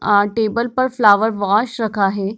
आ table पर flower vase रखा है।